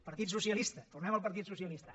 partit socialista tornem al partit socialista